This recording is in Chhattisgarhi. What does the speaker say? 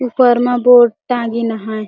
ऊपर मा बोर्ड टांगिन हय।